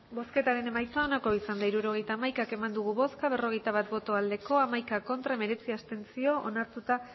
hirurogeita hamaika eman dugu bozka berrogeita bat bai hamaika ez hemeretzi abstentzio onartuta